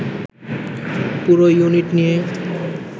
পুরো ইউনিট নিয়ে